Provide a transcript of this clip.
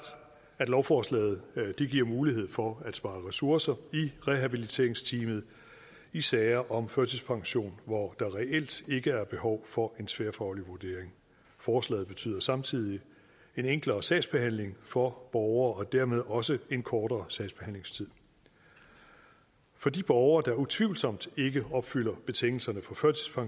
at lovforslaget giver mulighed for at spare ressourcer i rehabiliteringsteamet i sager om førtidspension hvor der reelt ikke er behov for en tværfaglig vurdering forslaget betyder samtidig en enklere sagsbehandling for borgere og dermed også en kortere sagsbehandlingstid for de borgere der utvivlsomt ikke opfylder betingelserne for